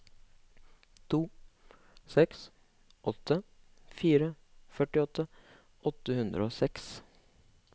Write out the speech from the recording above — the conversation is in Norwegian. to seks åtte fire førtiåtte åtte hundre og seks